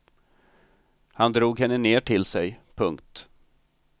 Han drog henne ner till sig. punkt